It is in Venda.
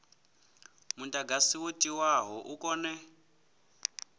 mudagasi wo tiwaho u kone